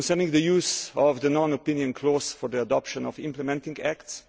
the use of the non opinion' clause for the adoption of implementing acts